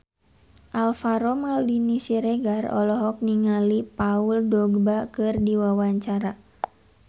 Alvaro Maldini Siregar olohok ningali Paul Dogba keur diwawancara